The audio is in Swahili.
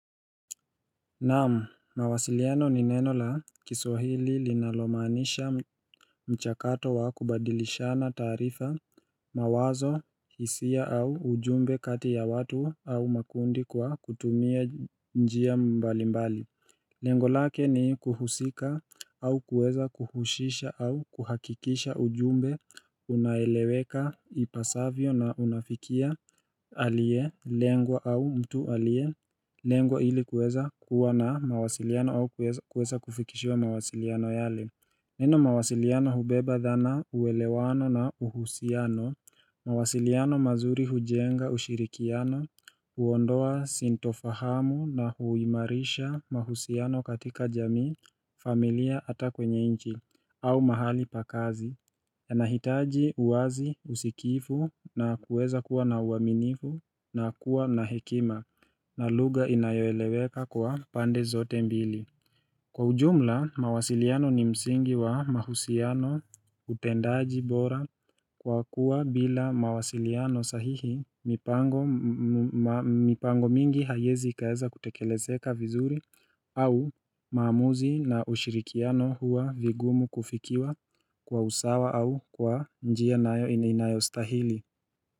Naam, mawasiliano ni neno la kiswahili linalomaanisha mchakato wa kubadilishana taarifa mawazo hisia au ujumbe kati ya watu au makundi kwa kutumia njia mbali mbali Lengo lake ni kuhusika au kuweza kuhushisha au kuhakikisha ujumbe unaeleweka ipasavyo na unafikia alielengwa au mtu alielengwa ili kuweza kuwa na mawasiliano au kuweza kufikishiwa mawasiliano yale Neno mawasiliano hubeba dhana uelewano na uhusiano mawasiliano mazuri hujenga ushirikiano, huondoa sintofahamu na huimarisha mahusiano katika jamii, familia ata kwenye nchi au mahali pa kazi yanahitaji uwazi usikivu na kuweza kuwa na uaminifu na kuwa na hekima na lugha inayoeleweka kwa pande zote mbili. Kwa ujumla, mawasiliano ni msingi wa mahusiano utendaji bora kwa kuwa bila mawasiliano sahihi mipango mingi haiezi ikaeza kutekelezeka vizuri au maamuzi na ushirikiano huwa vigumu kufikiwa kwa usawa au kwa njia nayo inayostahili.